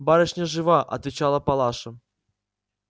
барышня жива отвечала палаша